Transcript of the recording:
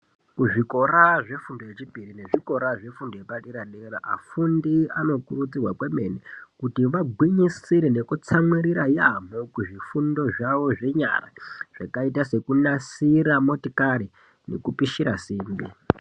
Kuzvikoraa zvefundo yechipiri nezvikora zvefundo yepadera dera afundi anokurudzirwa kwemene kuti vagwinyisire nekutsamwirira yaamho kuzvifundo zvawo zvenyara zvakaita sekunasira motikari nekupishira simbi.